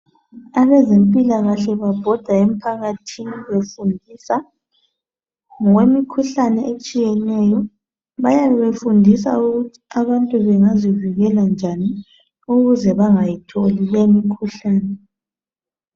Abezempilakahle babhoda emphakathini befundisa ngemikhuhlane etshiyeneyo bayabe befundisa abantu bengazivikela njani ukuze bangayitholi leyi mkhuhlane.